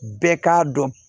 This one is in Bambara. Bɛɛ k'a dɔn